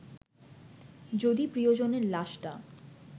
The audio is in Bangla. যদি প্রিয়জনের লাশটা